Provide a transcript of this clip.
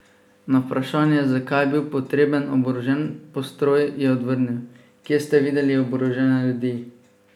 Na vprašanje, zakaj je bil potreben oborožen postroj, je odvrnil: "Kje ste videli oborožene ljudi.